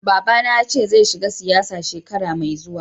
Baba ba na ya ce zai shiga siyasa shekara mai zuwa.